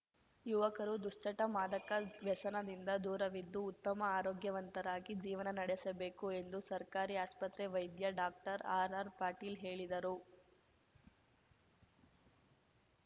ಯುವಕರು ದುಶ್ಚಟ ಮಾದಕ ವ್ಯಸನದಿಂದ ದೂರವಿದ್ದು ಉತ್ತಮ ಆರೋಗ್ಯವಂತರಾಗಿ ಜೀವನ ನಡೆಸಬೇಕು ಎಂದು ಸರ್ಕಾರಿ ಆಸ್ಪತ್ರೆ ವೈದ್ಯ ಡಾಕ್ಟರ್ ಆರ್‌ಆರ್‌ಪಾಟೀಲ್ ಹೇಳಿದರು